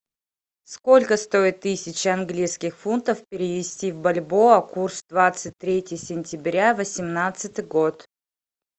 сколько стоит тысяча английских фунтов перевести в бальбоа курс двадцать третье сентября восемнадцатый год